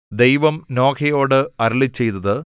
ദൈവം നോഹയോട് അരുളിച്ചെയ്തത്